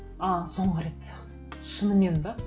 ы соңғы рет шынымен бе